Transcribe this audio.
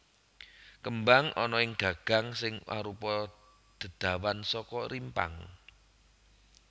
Kembang ana ing gagang sing arupa dedawan saka rimpang